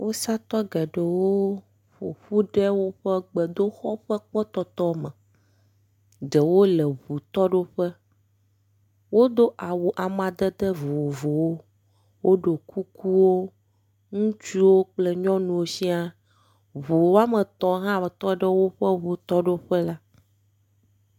Wusatɔ geɖewo ƒoƒu ɖe woƒe gbedoxɔ ƒe kpɔtɔtɔ me, ɖewo le ŋutoɖoƒe. Wodo awu amadede vovovowo, woɖɔ kukuwo. Ŋutsuwo kple nyɔnuwo siaa, ŋu woame etɔ̃ hã tɔ ɖe woƒe ŋutɔɖoƒe la.